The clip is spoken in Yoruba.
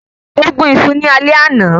Ó gún isu ní alẹ́ àná